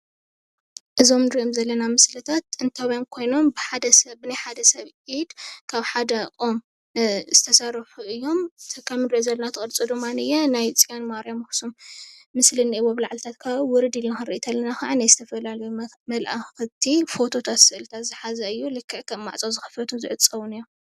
እዞም እንሪኦም ዘለና ምስልታት ጥንታውያን ኮይኖም ብሓደ ሰብ ብናይ ሓደሰብ ብኢድ ካብ ሓደ ኦም ዝተሰርሑ እዮም ከም እንሪኦ ዘለና እቲ ቅርፂ ድማ ናይ ፅዮን ማርያም ኣክሱም ምስሊ እኒሀዎ ብላዕሊታት ከባቢ ውርድ ኢልና ክዓ ናይ ዝተፈላለዩ መልኣክቲ ፎቶታት ስእሊ ዝሓዘ እዩ፣ ልክዕ ከም ማዕፆ ዝክፈቱ ዝዕፀውን እዮም፡፡